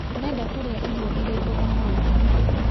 Ũrenda kũrĩa irio ĩrĩkũ ũmũthĩ?